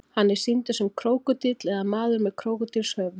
hann er sýndur sem krókódíll eða maður með krókódílshöfuð